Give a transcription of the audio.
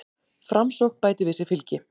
Framsókn bætir við sig fylgi